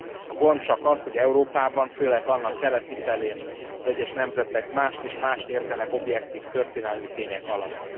A gond csak az, hogy Európában, főleg annak keleti felén, az egyes nemzetek mást és mást értenek objektív történelmi tények alatt.